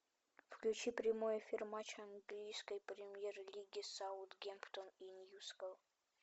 включи прямой эфир матча английской премьер лиги саутгемптон и ньюкасл